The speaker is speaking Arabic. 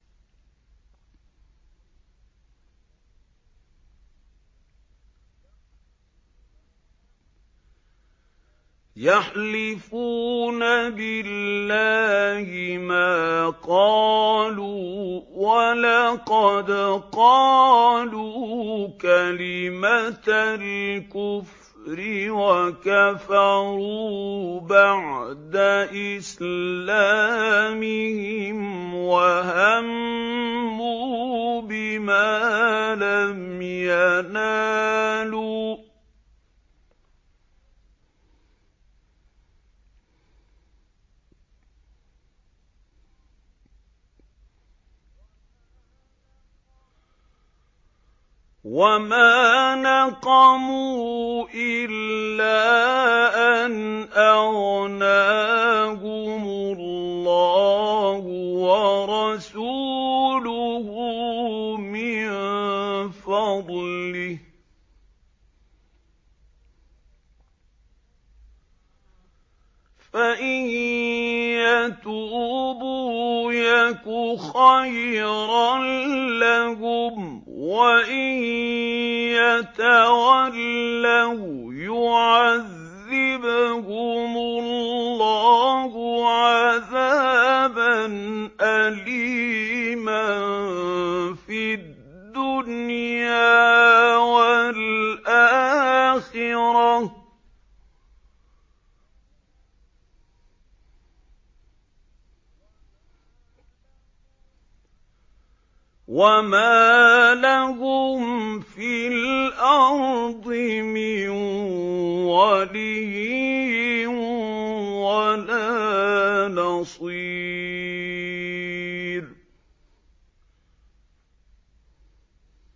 يَحْلِفُونَ بِاللَّهِ مَا قَالُوا وَلَقَدْ قَالُوا كَلِمَةَ الْكُفْرِ وَكَفَرُوا بَعْدَ إِسْلَامِهِمْ وَهَمُّوا بِمَا لَمْ يَنَالُوا ۚ وَمَا نَقَمُوا إِلَّا أَنْ أَغْنَاهُمُ اللَّهُ وَرَسُولُهُ مِن فَضْلِهِ ۚ فَإِن يَتُوبُوا يَكُ خَيْرًا لَّهُمْ ۖ وَإِن يَتَوَلَّوْا يُعَذِّبْهُمُ اللَّهُ عَذَابًا أَلِيمًا فِي الدُّنْيَا وَالْآخِرَةِ ۚ وَمَا لَهُمْ فِي الْأَرْضِ مِن وَلِيٍّ وَلَا نَصِيرٍ